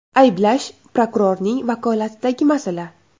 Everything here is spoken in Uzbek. Ayblash prokurorning vakolatidagi masala.